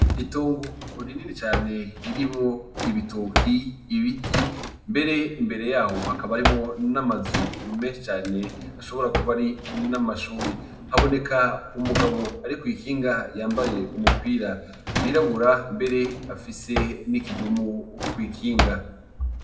Itongo rini cane ririmwo ibitoki, ibiti mbere imbere yaho hakaba harimwo n’amazu menshi cane ashobora kuba ari n’amashure. Haboneka umugabo ari kw'ikinga yambaye umupira wirabura mbere afise n’ikidumu kw'ikinga.